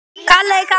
Þú ert best.